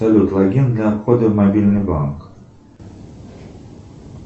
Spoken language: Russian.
салют логин для входа в мобильный банк